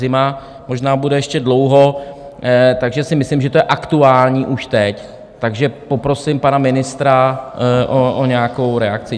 Zima možná bude ještě dlouho, takže si myslím, že to je aktuální už teď, a poprosím pana ministra o nějakou reakci.